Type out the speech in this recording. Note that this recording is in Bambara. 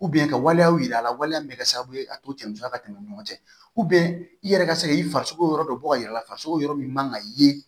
ka waleyaw yira a la waleya min bɛ kɛ sababu ye a to cɛya ka tɛmɛ ɲɔgɔn cɛ i yɛrɛ ka se ka i farisogo yɔrɔ dɔ bɔ ka yira i la farisoko yɔrɔ min man kan ka ye